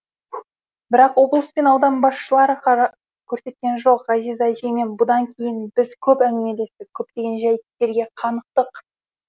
бірақ облыс пен аудан басшылары қара көрсеткен жоқ ғазиза әжеймен бұдан кейін де біз көп әңгімелестік көптеген жәйттерге қанықтық